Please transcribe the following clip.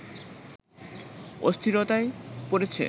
অস্থিরতায় পড়েছে